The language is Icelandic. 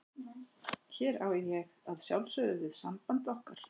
Hér á ég að sjálfsögðu við samband okkar.